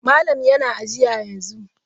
Malam yana aji yanzu.